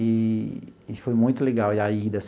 Eee e foi muito legal a a ida.